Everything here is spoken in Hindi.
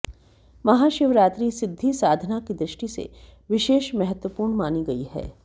महाशिवरात्रि सिद्धि साधना की दृष्टि से विशेष महत्त्वपूर्ण मानी गई है